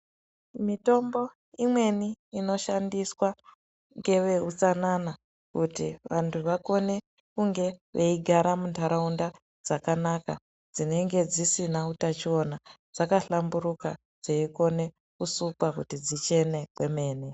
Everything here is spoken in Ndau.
Mitombo imweni inoshandiswa ngevehutsanana. Kuti vantu vakone kunge veigara muntaraunda dzakanaka dzinenge dzisina utachiona. Dzakahlamburuka dzeikona kusukwa kuti dzichene kwemene.